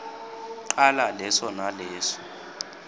cala leso naleso